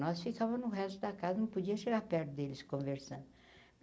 Nós ficava no resto da casa, não podia chegar perto deles conversando.